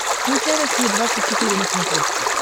включай россия двадцать четыре на смотрешке